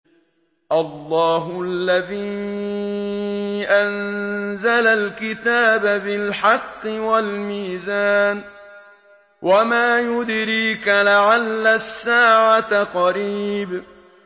اللَّهُ الَّذِي أَنزَلَ الْكِتَابَ بِالْحَقِّ وَالْمِيزَانَ ۗ وَمَا يُدْرِيكَ لَعَلَّ السَّاعَةَ قَرِيبٌ